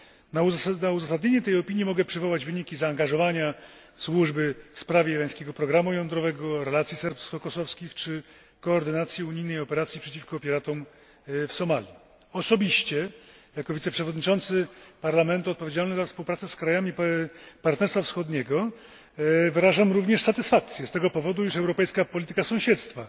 Na uzasadnienie tej opinii mogę przywołać wyniki zaangażowania Służby w sprawę irańskiego programu jądrowego, w relacje serbsko kosowskie czy koordynację unijnej operacji przeciwko piratom w Somalii. Osobiście, jako wiceprzewodniczący Parlamentu odpowiedzialny za współpracę z krajami Partnerstwa Wschodniego, wyrażam również satysfakcję z tego powodu, iż europejska polityka sąsiedztwa,